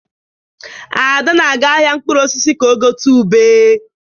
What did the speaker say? Ada na-aga ahịa mkpụrụ osisi ka ọ gote ube.